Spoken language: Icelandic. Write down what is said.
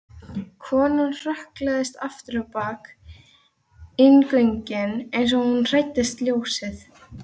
Konan hrökklaðist afturábak inn göngin eins og hún fældist ljósið.